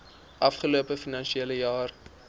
afgelope finansiële jaar